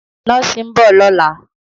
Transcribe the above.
Nọ́ọ̀sì ń bọ̀ lọ́la.